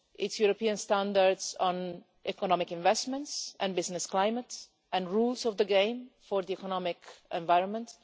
It's European standards on economic investments and business climate and rules of the game for the economic environment.